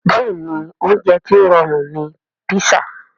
Bẹ́ẹ̀ni oúnjẹ tó rọrùn ni písà